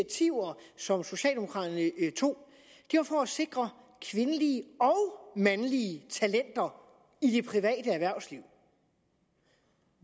så socialdemokraterne tog var for at sikre kvindelige og mandlige talenter i det private erhvervsliv